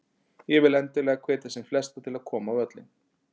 Ég vil endilega hvetja sem flesta til að koma á völlinn.